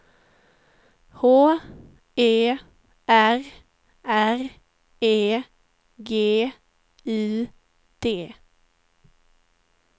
H E R R E G U D